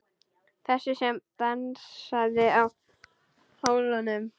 Þessi sem dansaði á hólnum.